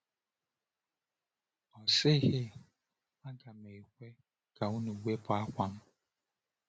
Ọ sịghị, ‘Aga m ekwe ka unu wepụ àkwà m!’